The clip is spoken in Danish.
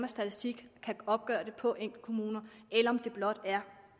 statistik kan opgøre det på enkeltkommuner eller om det blot er